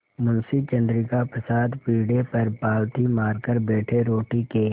मुंशी चंद्रिका प्रसाद पीढ़े पर पालथी मारकर बैठे रोटी के